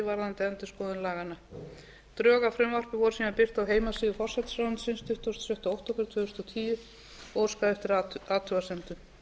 varðandi endurskoðun laganna drög að frumvarpi voru síðan birt á heimasíðu forsætisráðuneytisins tuttugasta og sjötta október tvö þúsund og tíu og óskað eftir athugasemdum